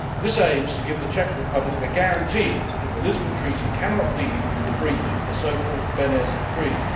This aims to give the Czech Republic a guarantee that the Lisbon Treaty cannot lead to the breach of the so called Beneš Decrees.